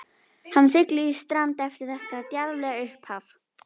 Hann sigldi í strand eftir þetta djarflega upphaf.